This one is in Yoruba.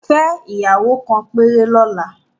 Fẹ́ ìyàwó kan péré lọ́la